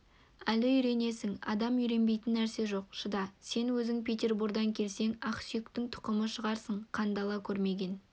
әлі үйренесің адам үйренбейтін нәрсе жоқ шыда сен өзің петербордан келсең ақсүйектің тұқымы шығарсың қандала көрмеген